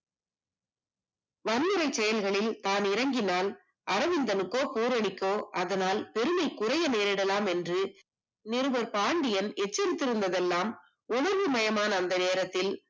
வன்முறை செயல்களில் தான் இறங்கினால் அரவிந்த்னுக்கோ போர் அடிக்கும் அதனால் மரியாதை குறைய நேரிடலாம் என்று நிருபர் பாண்டியன் எச்சரித்து இருந்தது எல்லாம் உதவி மயமான அந்த நேரத்தில்